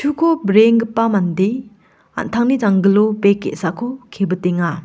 breenggipa mande an·tangni janggilo bek ge·sako kebitenga.